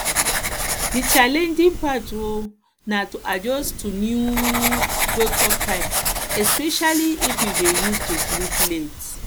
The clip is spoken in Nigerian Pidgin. di challenging part um na to adjust to new um wakeup time especially if you um dey used to sleep late